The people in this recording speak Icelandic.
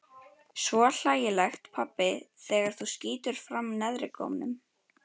Svo hlægilegt pabbi þegar þú skýtur fram neðrigómnum.